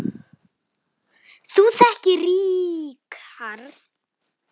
Þú þekkir Ríkharð